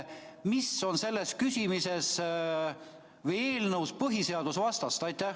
Mis on selles küsimuses või eelnõus põhiseadusvastast?